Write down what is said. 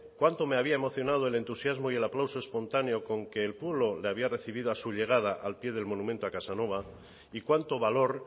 cuánto me había emocionado el entusiasmo y el aplauso espontaneo con que el pueblo le había recibido a su llegada al pie del monumento a casanova y cuánto valor